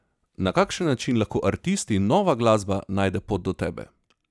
Na kakšen način lahko artisti in nova glasba najde pot do tebe?